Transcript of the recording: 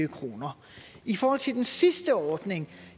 kroner i forhold til den sidste ordning